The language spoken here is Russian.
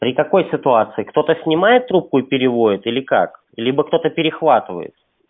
при такой ситуации кто-то снимает трубку и переводит или как либо кто-то перехватывает